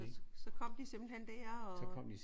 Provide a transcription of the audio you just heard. Nå så kom de simpelthen der og?